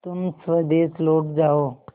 तुम स्वदेश लौट जाओ